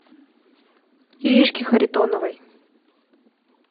иришке харитоновой